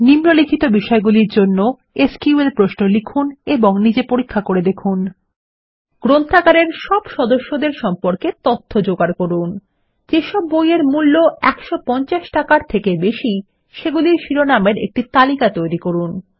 নিম্নলিখিত বিষয়গুলির জন্য এসকিউএল প্রশ্ন লিখুন এবং নিজে পরীক্ষা করে দেখুন160 ১ লাইব্রেরী সকল সদস্যদের সম্পর্কে তথ্য জোগাড় করুন ২ যেসব বইয়ের মূল্য ১৫০ টাকার থেকে বেশি সেগুলির শিরোনাম এর একটি তালিকা তৈরী করুন